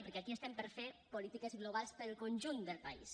perquè aquí estem per fer polítiques globals per al conjunt del país